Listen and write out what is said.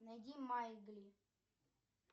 найди маугли